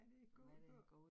Hvad det går ud på